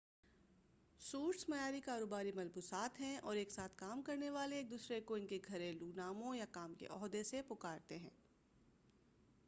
suits معیاری کاروباری ملبوسات ہیں اور ایک ساتھ کام کرنے والے ایک دوسرے کو ان کے گھریلوں ناموں یا کام کے عہدہ سے پکارتے ہیں